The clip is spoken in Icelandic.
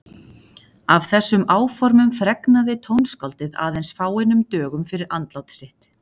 Af þessum áformum fregnaði tónskáldið aðeins fáeinum dögum fyrir andlát sitt.